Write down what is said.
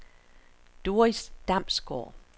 Doris Damsgaard